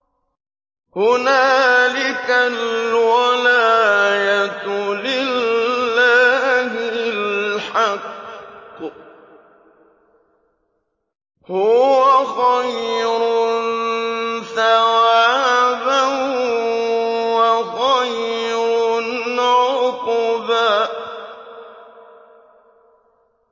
هُنَالِكَ الْوَلَايَةُ لِلَّهِ الْحَقِّ ۚ هُوَ خَيْرٌ ثَوَابًا وَخَيْرٌ عُقْبًا